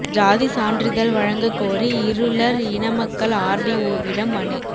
ஜாதி சான்றிதழ் வழங்க கோரி இருளர் இன மக்கள் ஆர்டிஓவிடம் மனு